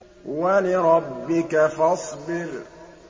وَلِرَبِّكَ فَاصْبِرْ